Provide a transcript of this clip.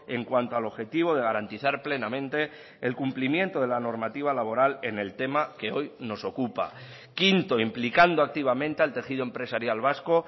en cuanto al objetivo de garantizar plenamente el cumplimiento de la normativa laboral en el tema que hoy nos ocupa quinto implicando activamente al tejido empresarial vasco